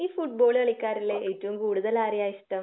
ഈ ഫുട്ബോൾ കളിക്കാരിൽ ഏറ്റവും കൂടുതൽ ആരെയാ ഇഷ്ടം?